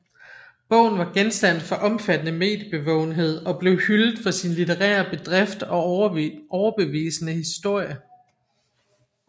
Bogen var genstand for omfattende mediebevågenhed og blev hyldet for sin litterære bedrift og overbevisende historie